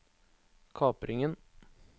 kapringen